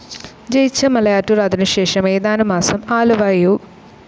ജയിച്ച മലയാറ്റൂർ അതിനുശേഷം ഏതാനും മാസം ആലുവ യു.